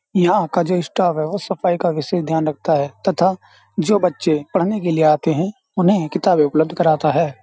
यहां का जो स्टाफ है वह सफाई का विशेष ध्यान रखता है तथा जो बच्चे पढ़ने के लिए आते हैं उन्हें किताबें उपलब्ध कराता है।